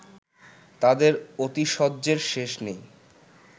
তাঁদের আতিশয্যের শেষ নেই